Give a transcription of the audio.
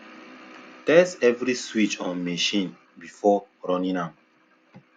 test every switch on machine before running am